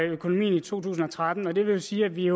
økonomien i to tusind og tretten og det vil jo sige at vi